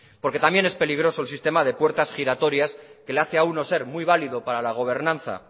porque también es peligroso el sistema de puertas giratorias que le hace a uno ser muy válido para la gobernanza